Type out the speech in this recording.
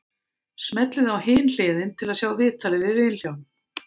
Smellið á Hin hliðin til að sjá viðtalið við Vilhjálm.